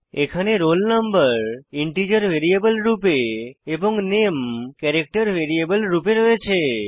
এখানে roll no integer variable রূপে এবং নামে ক্যারেক্টার ভ্যারিয়েবল রূপে রয়েছে